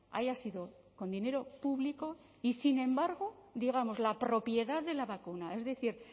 haya sido con dinero público y sin embargo digamos la propiedad de la vacuna es decir